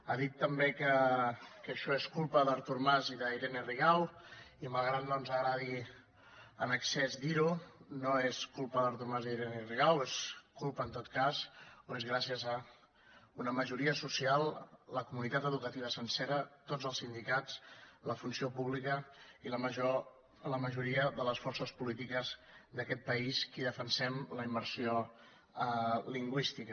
ha dit també que això és culpa d’artur mas i d’irene rigau i malgrat que no ens agradi en excés dir ho no és culpa d’artur mas i d’irene rigau és culpa en tot cas o és gràcies a una majoria social la comunitat educativa sencera tots els sindicats la funció pública i la majoria de les forces polítiques d’aquest país que defensem la immersió lingüística